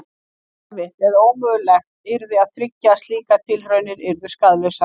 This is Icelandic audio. Erfitt eða ómögulegt yrði að tryggja að slíkar tilraunir yrðu skaðlausar.